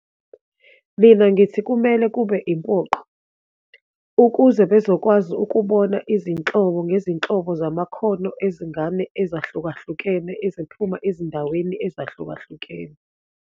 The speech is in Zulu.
Mina, ngithi kumele kube impoqo, ukuze bezokwazi ukubona izinhlobo ngezinhlobo zamakhono ezingane ezahlukahlukene, eziphuma ezindaweni ezahlukahlukene.